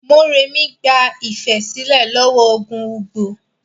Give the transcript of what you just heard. Morèmi gba Ifẹ̀ sílẹ̀ lọ́wọ́ ogun Ugbo.